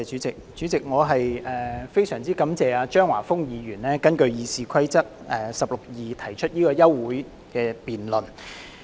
主席，我非常感謝張華峰議員根據《議事規則》第162條動議休會待續議案。